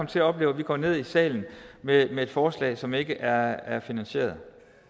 til at opleve at vi går ned i salen med et forslag som ikke er er finansieret